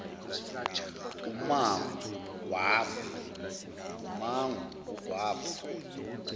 umango ugw ava